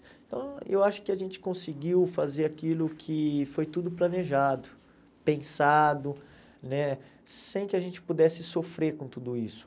Então eu acho que a gente conseguiu fazer aquilo que foi tudo planejado, pensado né, sem que a gente pudesse sofrer com tudo isso.